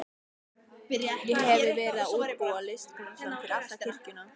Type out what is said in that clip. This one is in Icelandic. Ég hefi verið að útbúa litaskalann fyrir alla kirkjuna.